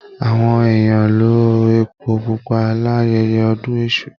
Àwọn èèyàn lo èpo pupa l'ayẹyẹ ọdún èṣù.